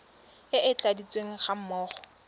e e tladitsweng ga mmogo